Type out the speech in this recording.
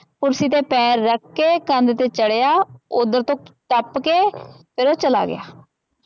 ਕੁਰਸੀ ਤੇ ਪੈਰ ਰਖਕੇ ਕੰਧ ਤੇ ਚੜਿਆ ਓਦਰ ਤੋ ਟਪਕੇ ਫੇਰ ਓਹ ਚਲਾ ਗਿਆ।